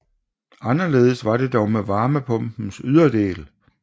Anderledes er det dog med varmepumpens yderdel